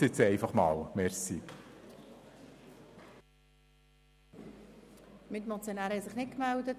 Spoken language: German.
Es haben sich keine weiteren Motionäre gemeldet.